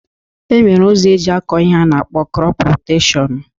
E nwere ụzọ eji akọ ihe a na-akpọ krọp roteshọn